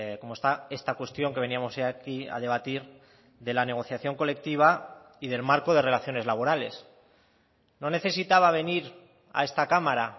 cómo está esta cuestión que veníamos aquí a debatir de la negociación colectiva y del marco de relaciones laborales no necesitaba venir a esta cámara